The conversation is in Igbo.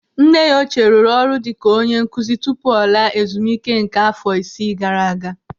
Nne ya ochie rụrụ ọrụ dịka onye nkụzi tupu ọ laa ezumike nká afọ isii gara aga.